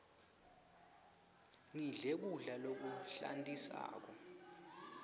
ngidle kudla lokuhlantisako